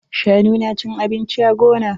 Shanu na cin abinci a gona.